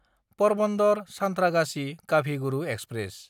परबन्दर–सान्थ्रागाछि काभि Guru express